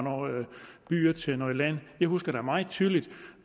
by til land jeg husker meget tydeligt